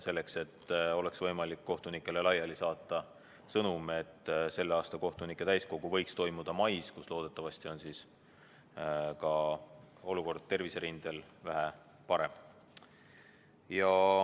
Siis on võimalik kohtunikele laiali saata sõnum, et selle aasta kohtunike täiskogu võiks toimuda mais, kui loodetavasti on olukord terviserindel vähe parem.